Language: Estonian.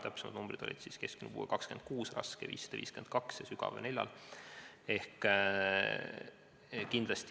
Täpsemalt, keskmine puue on 26, raske 552 ja sügav 4 lapsel.